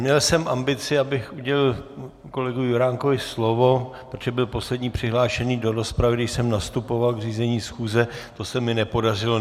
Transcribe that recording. Měl jsem ambici, abych udělil kolegu Juránkovi slovo, protože byl poslední přihlášený do rozpravy, když jsem nastupoval k řízení schůze, to se mi nepodařilo.